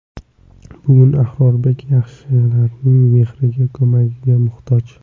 Bugun Abrorbek yaxshilarning mehriga, ko‘magiga muhtoj.